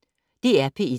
DR P1